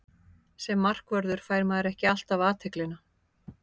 Sem markvörður fær maður ekki alltaf athyglina.